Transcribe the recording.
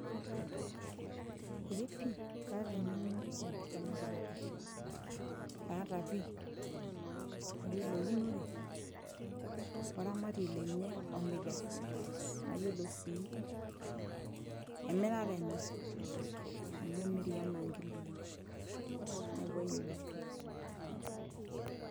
eepi kaata eng'eno naipirrta ena kipeta aata pii ayiolo eunore oramatiei lenye omikesi nayiolo sii emirare enye amu emiri enaa nkiloi neeku ayiolo pii.